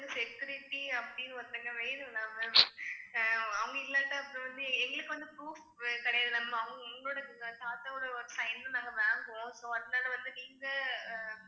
security அப்படின்னு ஒருத்தவங்க வேணும் இல்ல ma'am அவங்க இல்லாட்டா அப்புறம் வந்து எங்களுக்கு வந்து proof கிடையாது உங்களோட தாத்தாவோட sign ம் நாங்க வாங்குவோம் so அதனால வந்து நீங்க